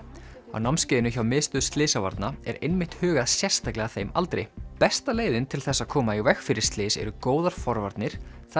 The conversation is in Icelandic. á námskeiðinu hjá Miðstöð slysavarna er einmitt hugað sérstaklega að þeim aldri besta leiðin til þess að koma í veg fyrir slys eru góðar forvarnir það